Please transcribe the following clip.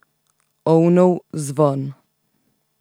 Ovnov zvon.